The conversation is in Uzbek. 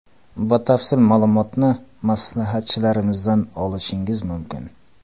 Batafsil ma’lumotni maslahatchilarimizdan olishingiz mumkin.